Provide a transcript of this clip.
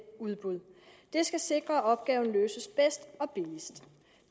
udbud det skal sikre at opgaven løses bedst og billigst